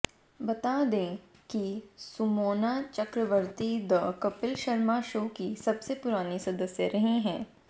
बता दें कि सुमोना चक्रवर्ती द कपिल शर्मा शो की सबसे पुरानी सदस्य रही हैं